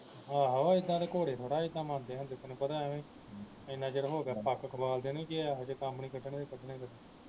ਆਹੋ ਇੱਦਾਂ ਤੇ ਘੋੜੇ ਥੋੜਾ ਇੱਦਾਂ ਮੰਨਦੇ ਹੁੰਦੇ ਤੈਨੂੰ ਪਤਾ ਆਵੇ ਇੰਨਾ ਚਿਰ ਹੋ ਗਿਆ ਨੂੰ ਜੇ ਆਹੋ ਜੇ ਕੰਮ ਨਹੀਂ ਕੱਢਣੇ ਤੇ ਕੱਢਣੇ ਕਦੋਂ